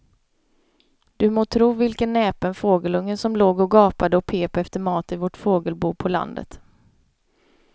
Du må tro vilken näpen fågelunge som låg och gapade och pep efter mat i vårt fågelbo på landet.